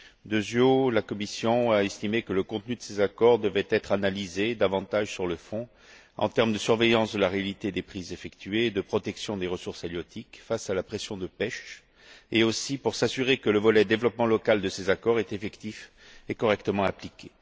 Deuxièmement, la commission a estimé que le contenu de ces accords devait être analysé davantage sur le fond, en termes de surveillance de la réalité des prises effectuées et de protection des ressources halieutiques face à la pression de PECH, et aussi pour s'assurer que le volet développement local de ces accords est effectif et correctement appliqué.